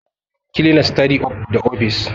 Cleaners, tidy up the office